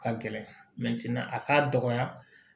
Ka gɛlɛ a k'a dɔgɔya